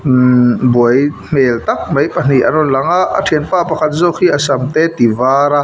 ihh buai hmel tak mai pahnih an rawn lang a thianpa pakhat zawk hi a sam te a ti var a.